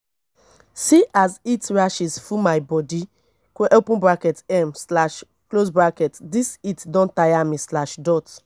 see as heat rashes full my baby bodi um dis heat don tire me.